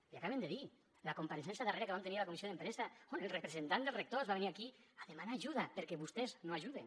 l’hi acaben de dir la compareixença darrera que vam tenir a la comissió d’empesa on el representant dels rectors va venir aquí a demanar ajuda perquè vostès no ajuden